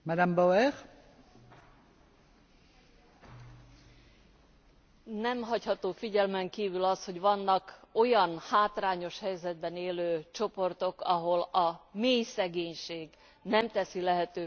Nem hagyható figyelmen kívül az, hogy vannak olyan hátrányos helyzetben élő csoportok, ahol a mélyszegénység nem teszi lehetővé igazából azt, hogy magasabb iskolázottsághoz jussanak emberek.